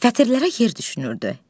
Fətirlərə yer düşünürdü.